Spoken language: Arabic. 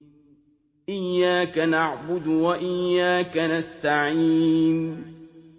إِيَّاكَ نَعْبُدُ وَإِيَّاكَ نَسْتَعِينُ